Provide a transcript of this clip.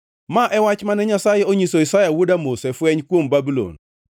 Ma e wach mane Nyasaye onyiso Isaya wuod Amoz e fweny kuom Babulon: